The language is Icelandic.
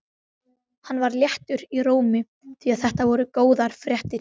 Hann var léttur í rómi því þetta voru góðar fréttir.